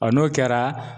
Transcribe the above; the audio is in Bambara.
Ɔ n'o kɛra